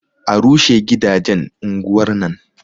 A rushe gidajen unguwar nan